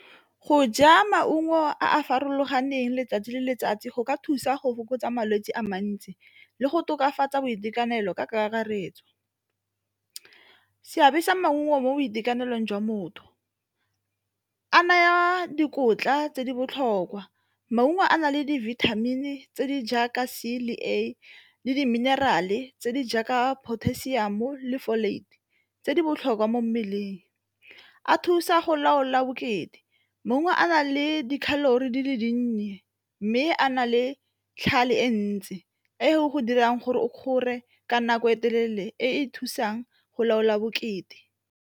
Go ja maungo a a farologaneng 'tsatsi le letsatsi go ka thusa go fokotsa malwetse a mantsi le go tokafatsa boitekanelo ka kakaretso. Seabe sa maungo mo boitekanelong jwa motho, a naya dikotla tse di botlhokwa, maungo a na le di-vitamin-e tse di jaaka C le A, le di-mineral-e tse di jaaka potassium le tse di botlhokwa mo a thusa go laola bokete. Maungo a na le di-calory di le dinnye mme a na le e ntse e go dirang gore o kgore ka nako e telele e e thusang go laola bokete.